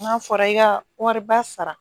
N'a fɔra i ka wariba sara